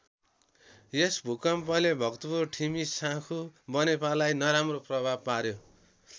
यस भूकम्पले भक्तपुर ठिमी साँखु बनेपालाई नराम्रो प्रभाव पार्‍यो।